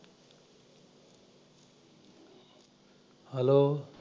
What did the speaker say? hello